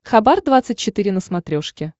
хабар двадцать четыре на смотрешке